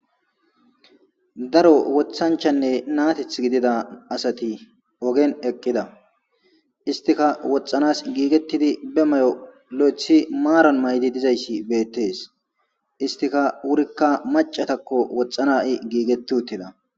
daro wothanchanne naateth gidida asati ogen eqqida istika woxxanas giigettidi be may7o lo7ethi maaran maydi dizayssi beettees istika wurikka macatakko woxxana i giigetti uttida